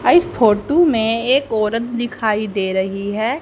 आ इस फोटो में एक औरत दिखाई दे रही हैं।